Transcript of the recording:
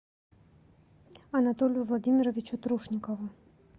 анатолию владимировичу трушникову